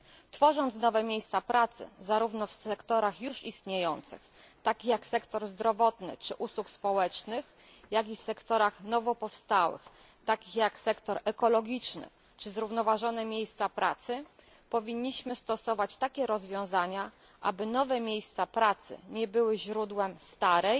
Tworząc nowe miejsca pracy zarówno w sektorach już istniejących takich jak sektor zdrowotny czy sektor usług społecznych, jak i w sektorach nowopowstałych, takich jak sektor ekologiczny czy zrównoważone miejsca pracy, powinniśmy stosować takie rozwiązania, aby nowe miejsca pracy nie były źródłem starej